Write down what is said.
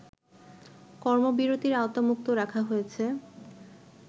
কর্মবিরতির আওতামুক্ত রাখা হয়েছে